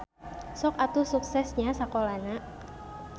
Sok atuh sukses nya sakolana.